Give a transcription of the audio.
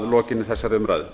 lokinni þessari umræðu